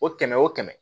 O kɛmɛ o kɛmɛ